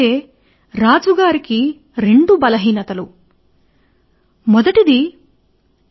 అతని బలహీనత చెప్పాలంటే అది కేవలం అధిక ప్రేమ కలిగి ఉండడం